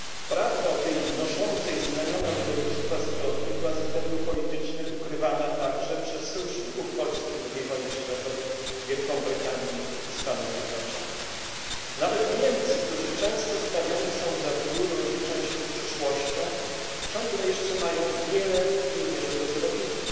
Prawda o tej noszącej znamiona ludobójstwa zbrodni była ze względów politycznych ukrywana także przez sojuszników Polski z czasów II wojny światowej, Wielką Brytanię i Stany Zjednoczone. Nawet Niemcy, którzy często stawiani są za wzór rozliczania się z przeszłością, ciągle jeszcze mają wiele w tej mierze do zrobienia.